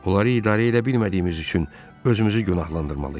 Onları idarə edə bilmədiyimiz üçün özümüzü günahlandırmalıyıq.